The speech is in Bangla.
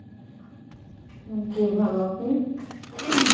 জি ভালো, আপনি? ing